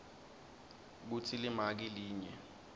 kutsi limaki linye